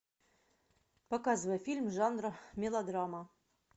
показывай фильм жанра мелодрама